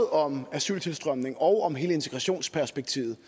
om asyltilstrømningen og om hele integrationsperspektivet